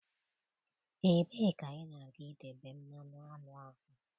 Ebee ka ị na ga-idebe mmanụ aṅụ ahụ?